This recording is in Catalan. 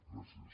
gràcies